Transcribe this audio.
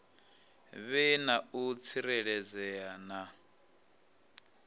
vhe na u tsireledzea na